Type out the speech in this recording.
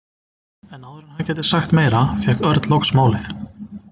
En áður en hann gæti sagt meira fékk Örn loks málið.